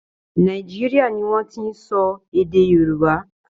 Nàìjíríà ni wọ́n ti ń sọ èè Yorùbá.